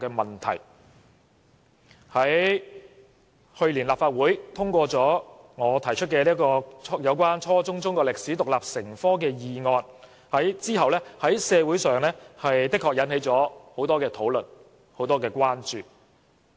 立法會去年通過我提出有關"初中中國歷史獨立成科"的議案，其後在社會上引起了很多討論和關注。